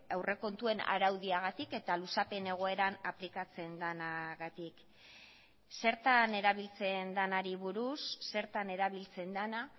aurrekontuen araudiagatik eta luzapen egoeran aplikatzen denagatik zertan erabiltzen denari buruz zertan erabiltzen dena